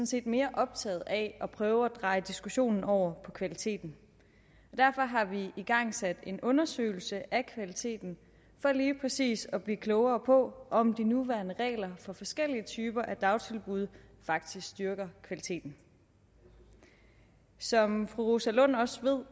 set mere optaget af at prøve at dreje diskussionen over på kvaliteten og derfor har vi igangsat en undersøgelse af kvaliteten for lige præcis at blive klogere på om de nuværende regler for forskellige typer af dagtilbud faktisk styrker kvaliteten som fru rosa lund også ved